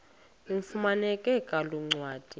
ifumaneka kule ncwadi